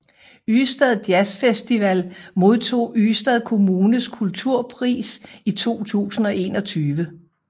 Ystad Jazz Festival modtog Ystad Kommunes kulturpris i 2021